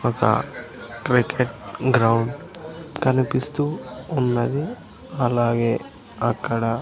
ఒక cricket ground కనిపిస్తూ ఉన్నది అలాగే అక్కడ.